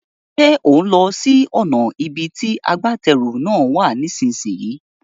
Ṣé òún lọ sí ọ̀nà ibi tí agbátẹrù náà wà nísìsiyìí?